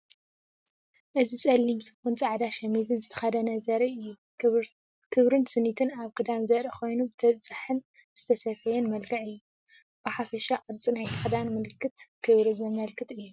እዚ ጸሊም ሱፍን ጻዕዳ ሸሚዝን ዝተከደነ ዘርኢ እዩ። ክብርን ስኒትን ኣብ ክዳን ዘርኢ ኮይኑ፡ ብተበጻሒን ዝተሰፍየን መልክዕ እዩ። ብሓፈሻ ቅርጺ ናይቲ ክዳን ምልክት ክብሪ ዘመልክት እዩ።